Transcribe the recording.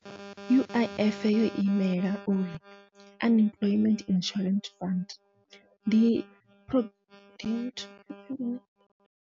U_I_F yo imela uri Unemployment Insurance Fund ndi .